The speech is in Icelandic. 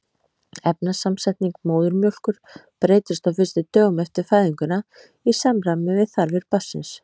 Efnasamsetning móðurmjólkur breytist á fyrstu dögum eftir fæðinguna í samræmi við þarfir barnsins.